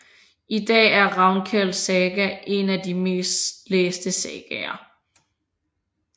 I dag er Ravnkels saga en af de mest læste sagaer